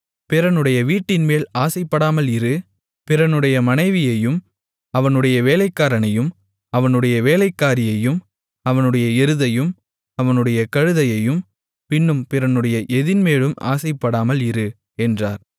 பிறனுடைய வீட்டின்மேல் ஆசைப்படாமல் இரு பிறனுடைய மனைவியையும் அவனுடைய வேலைக்காரனையும் அவனுடைய வேலைக்காரியையும் அவனுடைய எருதையும் அவனுடைய கழுதையையும் பின்னும் பிறனுடைய எதின்மேலும் ஆசைப்படாமல் இரு என்றார்